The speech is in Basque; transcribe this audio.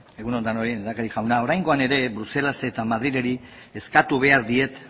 egun on denoi lehendakari jauna oraingoan ere bruselasi eta madrili eskatu behar diet